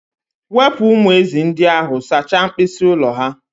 Wepụ umu ezị́ ndị ahụ sachaa mkpịsị ụlọ ha!.